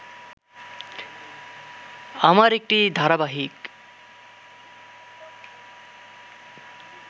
আমার একটি ধারাবাহিক